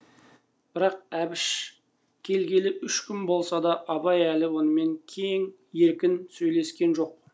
бірақ әбіш келгелі үш күн болса да абай әлі онымен кең еркін сөйлескен жоқ